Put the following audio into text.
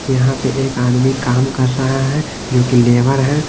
यहां पे एक आदमी काम कर रहा है जो कि लेबर है।